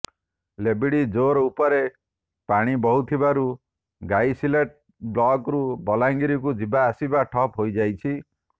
ଲେବିଡ଼ି ଜୋର ଉପରେ ପାଣି ବହୁଥିବାରୁ ଗାଇସିଲେଟ ବ୍ଲକରୁ ବଲାଙ୍ଗୀରକୁ ଯିବା ଆସିବା ଠପ୍ ହୋଇଯାଇଛି